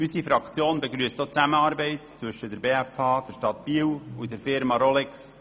Unsere Fraktion begrüsst auch die Zusammenarbeit zwischen der BFH, der Stadt Biel und der Firma Rolex.